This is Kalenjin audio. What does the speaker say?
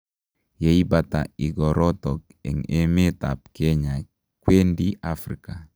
Ye ibata igorotok en emeet ap kenya kwendi Africa